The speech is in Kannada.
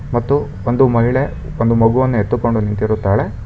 ಮತ್ತು ಒಂದು ಮಹಿಳೆ ಮಗುವನ್ನು ಎತ್ತುಕೊಂಡು ನಿಂತಿರುತ್ತಾಳೆ.